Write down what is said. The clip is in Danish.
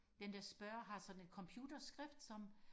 den der spørger har sådan et computerskrift som